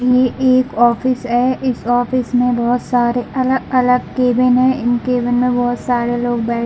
ये एक ऑफिस है इस ऑफिस मे बहुत सारे अलग - अलग केबिन है इन केबिन में बहुत सारे लोग बैठे --